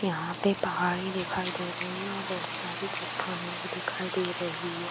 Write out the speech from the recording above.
यहाँ पे पहाड़ी दिखाई दे रही है और बहुत सारी चट्टाने भी दिखाई दे रही है।